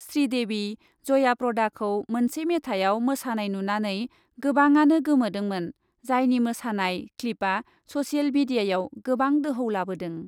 श्रीदेबि जया प्रदाखौ मोनसे मेथाइयाव मोसानाय नुनानै गोबाङानो गोमोदोंमोन जायनि मोसानाय क्लिपआ ससेल मिडियाआव गोबां दोहौ लाबोदों ।